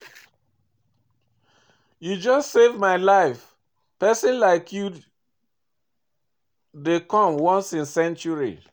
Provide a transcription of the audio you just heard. You just save my life, pesin like you dey come once in century.